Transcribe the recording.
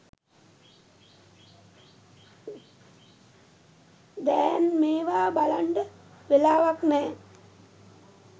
දෑන් මේවා බලන්ඩ වෙලාවක් නෑ